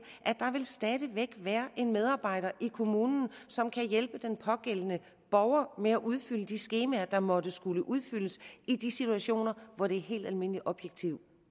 at der stadig væk vil være en medarbejder i kommunen som kan hjælpe den pågældende borger med at udfylde de skemaer der måtte skulle udfyldes i de situationer hvor det er helt almindelig objektiv